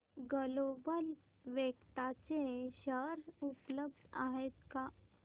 global vectra चे share उपलब्ध आहेत का